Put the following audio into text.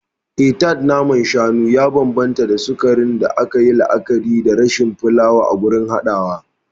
Eh, Tart na man shanu ya bambanta da sukarin da aka yi la'akari da rashin fulawa a gurin haɗawa.